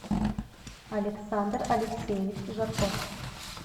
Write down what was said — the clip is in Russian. александр алексеевич жарков